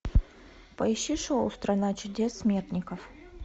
поищи шоу страна чудес смертников